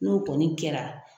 N'o kɔni kɛra.